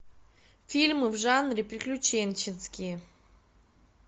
фильмы в жанре приключенческие